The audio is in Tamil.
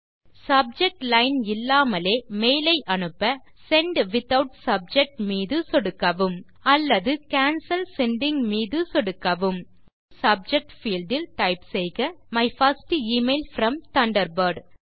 சப்ஜெக்ட் லைன் இல்லாமலே மெயில் ஐ அனுப்ப செண்ட் வித்தவுட் சப்ஜெக்ட் மீது சொடுக்கவும் அல்லது கேன்சல் செண்டிங் மீது சொடுக்கவும் இப்போது சப்ஜெக்ட் பீல்ட் இல் டைப் செய்க my first email from Thunderbird